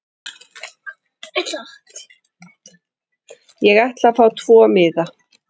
Ég ætla að fá tvo miða.